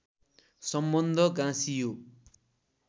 सम्बन्ध गाँसियो